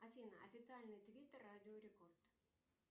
афина официальный твиттер радио рекорд